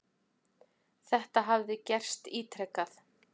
Þetta hafi gerst ítrekað.